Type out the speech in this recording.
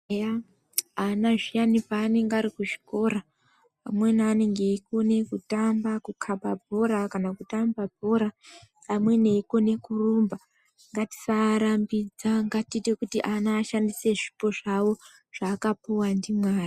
Eya ana zviyana paanenge arikuzvikora amweni anenge eikone kutamba kukhaba bhora kana kutamba bhora amweni eikone kurumba ngatisaarambidza ngatiite kuti ana ashandise zvipo zvavo zvaakapuwa ndiMwari.